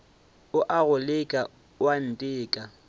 o a go leka oanteka